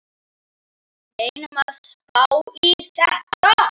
Reynum að spá í þetta.